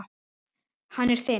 Hann er þinn.